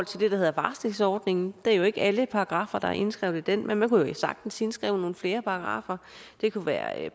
der hedder varslingsordningen det er jo ikke alle paragraffer der er indskrevet i den men man kunne sagtens indskrive nogle flere paragraffer det kunne være